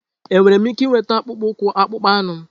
Enwere m ike ịnweta akpụkpọ ụkwụ akpụkpọ anụ m?